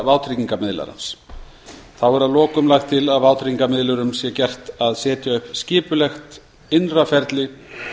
vátryggingamiðlarans þá er að lokum lagt til að vátryggingamiðlunar sé gert að setja upp skipulegt innra ferli